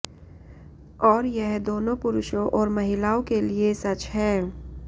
और यह दोनों पुरुषों और महिलाओं के लिए सच है